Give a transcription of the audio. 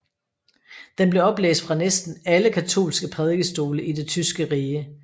Den blev oplæst fra næsten alle katolske prædikestole i Det tyske rige